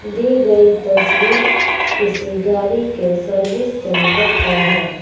दी गई तस्वीर किसी गाड़ी के सर्विस सेंटर का है।